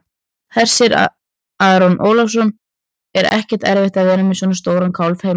Hersir Aron Ólafsson: Er ekkert erfitt að vera með svona stóran kálf heima?